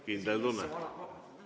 Kindel tunne.